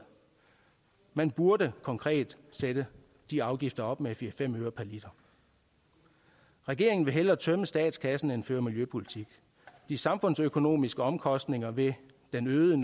man burde konkret sætte de afgifter op med fire fem øre per liter regeringen vil hellere tømme statskassen end føre miljøpolitik de samfundsøkonomiske omkostninger ved den øgede